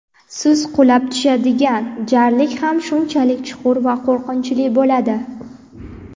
siz qulab tushadigan jarlik ham shunchalik chuqur va qo‘rqinchli bo‘ladi.